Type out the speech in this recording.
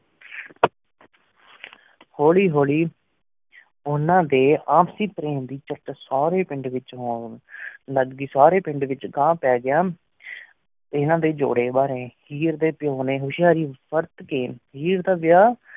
ਹੁਲਿ ਹੁਲਿ ਉਨਾ ਦੀ ਅਪ੍ਸ੍ਲ੍ਯ ਪ੍ਰੇਮ ਦੀ ਚੇਤ ਸਾਰੀ ਪੇੰਡ ਵੇਚ ਖੁਲ ਗਈ ਸਾਰੀ ਪੇੰਡ ਵੇਚ ਘ ਪਾਗਇਆ ਏਨਾ ਡੀ ਜੂਰੀ ਬਰੀ ਹੇਅਰ ਡੀ ਪੁਯ ਨਯਨ ਹੁਸ਼ਾਰੀ ਵੇਰ ਕੀ ਵਰਤ ਕੀ ਹੇਅਰ ਦਾ ਵਯ